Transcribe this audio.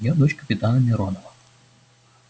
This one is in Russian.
я дочь капитана миронова